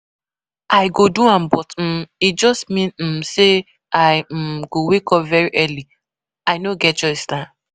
I go do am but um e just mean um say I um go wake up very early. I no get choice nah